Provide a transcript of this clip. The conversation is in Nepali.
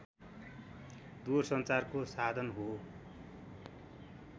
दूरसञ्चारको साधन हो